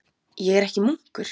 Ég er ekki munkur.